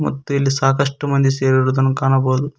ಮತ್ತೆ ಇಲ್ಲಿ ಸಾಕಷ್ಟು ಮಂದಿ ಸೇರಿರುವುದನ್ನು ಕಾಣಬಹುದು.